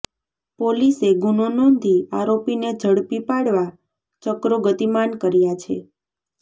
પોલીસે ગુનો નોંધી આરોપીને ઝડપી પાડવા ચક્રો ગતિમાન કર્યાં છે